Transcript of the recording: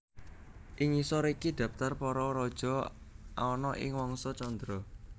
Ing ngisor iki dhaptar para raja ana ing Wangsa Candra